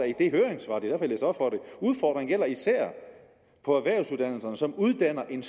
og er gælder især på erhvervsuddannelserne som uddanner en